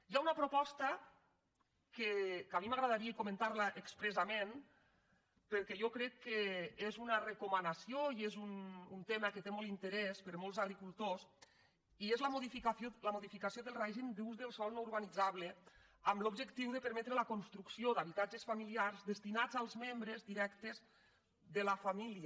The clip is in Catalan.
hi ha una proposta que a mi m’agradaria comentar·la expressament perquè jo crec que és una recomanació i és un tema que té molt d’interès per a molts agri·cultors i és la modificació del règim d’ús del sòl no urbanitzable amb l’objectiu de permetre la construc·ció d’habitatges familiars destinats als membres di·rectes de la família